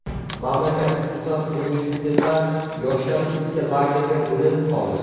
Mamlakat, xususan, universitetlar yoshlari ikki lagerga bo‘linib qoldi.